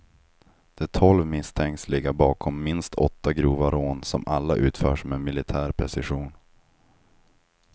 De tolv misstänks ligga bakom minst åtta grova rån som alla utförts med militär precision.